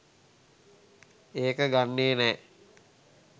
ඒක ගන්නෙ නෑ